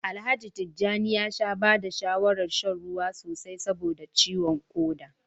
Alhaji Tijjani ya sha ba da shawarar shan ruwa sosai saboda ciwon koda